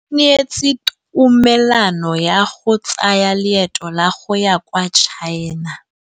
O neetswe tumalanô ya go tsaya loetô la go ya kwa China.